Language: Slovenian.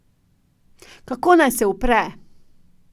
Kako naj se upre?